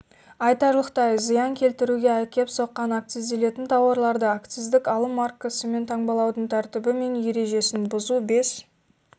айтарлықтай зиян келтіруге әкеп соққан акцизделетін тауарларды акциздік алым маркасымен таңбалаудың тәртібі мен ережесін бұзу бес